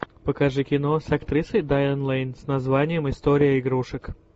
покажи кино с актрисой дайан лэйн с названием история игрушек